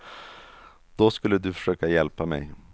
Då skulle du försöka hjälpa mej.